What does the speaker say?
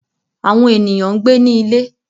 Awọn eniyan n gbe ni ile